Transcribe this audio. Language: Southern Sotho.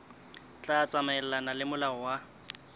tla tsamaelana le molao wa